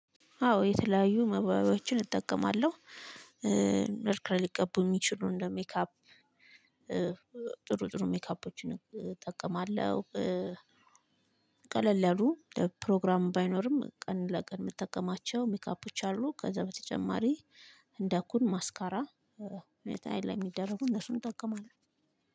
አዎ የተለያዩ መዋቢያዎችን እጠቀማለሁ መልክን ሊቀቡ የሚችሉ እንደ ሜካፕ ጥሩ ጥሩ ሜካፖችን እጠቀማለሁ። ቀለል ያሉ ፕሮግራሙ ባይኖርም ቀን ለቀን የምትጠቀማቸው ሜካፖች አሉ። ከዛ በተጨማሪ እንደ ኩል ማስካራ። ሁኔታ አይን ላይ የሚደረጉ እነሱን እጠቀማለሁ።